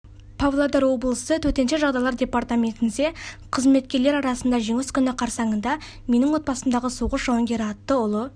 павлодар облысы төтенше жағдайлар департаментінде қызметкерлер арасында жеңіс күні қарсаңында менің отбасымдағы соғыс жауынгері атты ұлы